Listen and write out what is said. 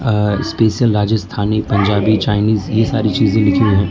और special Rajasthani Punjabi Chinese ये सारी चीजे लिखी हुई --